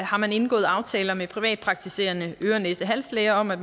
har man indgået aftaler med privatpraktiserende øre næse hals læger om at